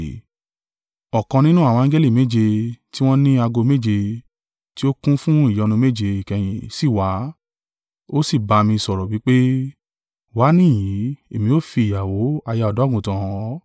Ọ̀kan nínú àwọn angẹli méje, tí wọ́n ni ago méje, tí ó kún fún ìyọnu méje ìkẹyìn sì wá, ó sì ba mi sọ̀rọ̀ wí pé, “Wá níhìn-ín, èmi ó fi ìyàwó, aya Ọ̀dọ́-àgùntàn hàn ọ́.”